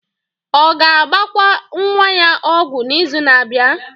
Ọ ga-agbakwa nwa ya ọgwụ n'izu na-abịa?